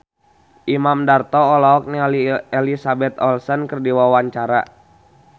Imam Darto olohok ningali Elizabeth Olsen keur diwawancara